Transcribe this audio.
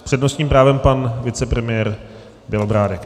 S přednostním právem pan vicepremiér Bělobrádek.